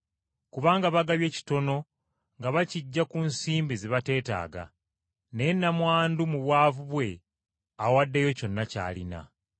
Kubanga bagabye kitono nga bakiggya ku bugagga bwe bafisizzaawo, naye nnamwandu mu bwavu bwe awaddeyo kyonna ky’alina.”